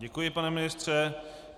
Děkuji, pane ministře.